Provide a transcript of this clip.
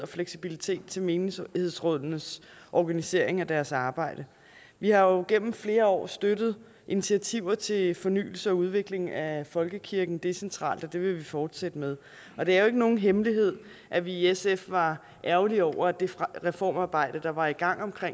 og fleksibilitet til menighedsrådenes organisering af deres arbejde vi har jo gennem flere år støttet initiativer til fornyelse og udvikling af folkekirken decentralt og det vil vi fortsætte med og det er jo ikke nogen hemmelighed at vi i sf var ærgerlige over at det reformarbejde der var i gang